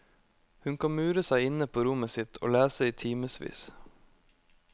Hun kan mure seg inne på rommet sitt og lese i timevis.